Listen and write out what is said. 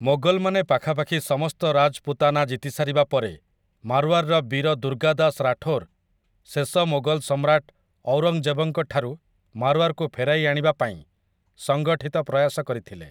ମୋଗଲ୍‌ମାନେ ପାଖାପାଖି ସମସ୍ତ ରାଜ୍‌ପୁତାନା ଜିତିସାରିବା ପରେ, ମାର୍ୱାର୍‌ର ବୀର ଦୁର୍ଗାଦାସ୍ ରାଠୋର୍ ଶେଷ ମୋଗଲ ସମ୍ରାଟ ଔରଙ୍ଗଜେବଙ୍କଠାରୁ ମାର୍ୱାର୍‌କୁ ଫେରାଇ ଆଣିବା ପାଇଁ ସଂଗଠିତ ପ୍ରୟାସ କରିଥିଲେ ।